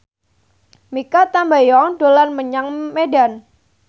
Mikha Tambayong dolan menyang Medan